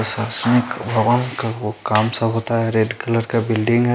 काम सा होता है रेड कलर का बिल्डिंग है।